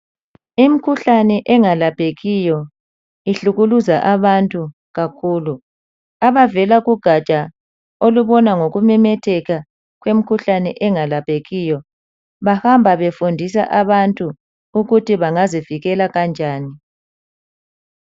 Imikhuhlane engalaphekiyo ihlukuluza abantu kakhulu. Abavela kugaja olubona ngokumemetheka kwemikhuhlane engalaphekiyo bahamba befundisa abantu ukuthi bengazivikela kanjani.